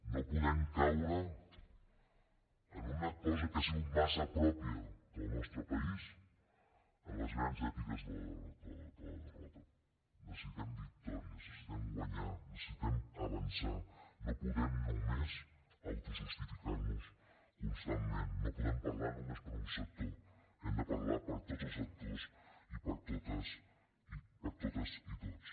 no podem caure en una cosa que ha sigut massa pròpia del nostre país en les grans èpiques de la derrota necessitem victòries necessitem guanyar necessitem avançar no podem només autojustificar nos constantment no podem parlar només per un sector hem de parlar per tots els sectors i per totes i tots